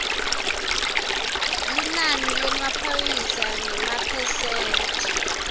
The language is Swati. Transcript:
linani lemaphoyisa ngemaphesenti